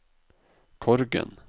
Korgen